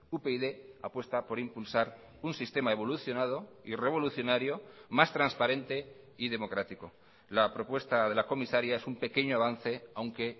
upyd apuesta por impulsar un sistema evolucionado y revolucionario más transparente y democrático la propuesta de la comisaria es un pequeño avance aunque